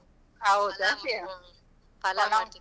.